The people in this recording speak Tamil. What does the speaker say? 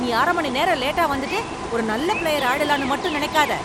நீ அரை மணி நேரம் லேட்டா வந்துட்டு ஒரு நல்ல பிளேயர் ஆயிடலாம்னு மட்டும் நினைக்காத.